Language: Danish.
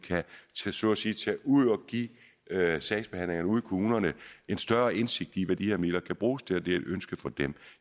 så at sige kan tage ud og give sagsbehandlerne ude i kommunerne en større indsigt i hvad de her midler kan bruges til og det er et ønske fra dem